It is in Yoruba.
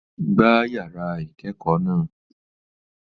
Gbá yàrá ìkẹ́kọ̀ọ́ náà!